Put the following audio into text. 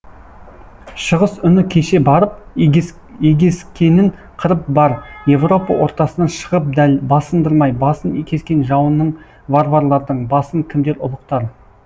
шығыс үні кеше барып егескенін қырып бар европа ортасынан шығып дәл басындырмай басын кескен жауының варварлардың басын кімдер ұлықтар